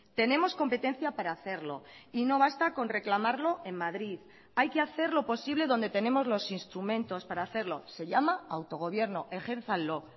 tenemos competencia para hacerlo y no basta con reclamarlo en madrid hay que hacer lo posible donde tenemos los instrumentos para hacerlo se llama autogobierno ejérzanlo